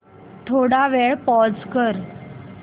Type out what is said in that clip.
थोडा वेळ पॉझ कर